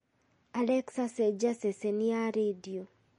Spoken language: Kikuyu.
alexa cenjia ceceni ya rĩndiũ